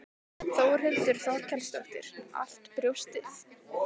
Þórhildur Þorkelsdóttir: Allt brjóstið?